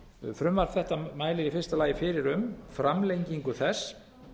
frumvarp þetta mælir í fyrsta lagi fyrir um framlengingu þess